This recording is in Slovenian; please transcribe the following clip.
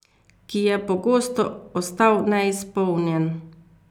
Ki je pogosto ostal neizpolnjen.